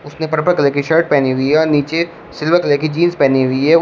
उसने purple colour की shirt पहनी हुई है और नीचे सिल्वर कलर की जींस पहनी हुई है।